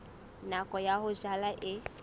nako ya ho jala e